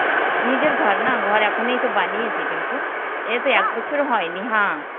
নিজের ঘর না ঘর এখনই তো বানিয়েছি টিঙ্কু. এইতো একবছরও হয়নি. Hindi